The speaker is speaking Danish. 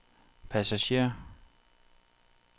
passager